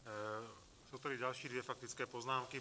Jsou tady další dvě faktické poznámky.